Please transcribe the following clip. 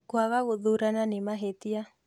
Kwaga gũthurana nĩ mahĩtia